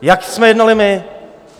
Jak jsme jednali my?